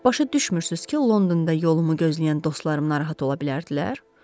Başa düşmürsünüz ki, Londonda yolumu gözləyən dostlarım narahat ola bilərdilər?